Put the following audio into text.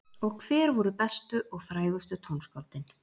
Og hver voru bestu og frægustu tónskáldin?